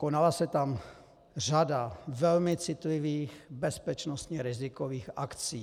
Konala se tam řada velmi citlivých, bezpečnostně rizikových akcí.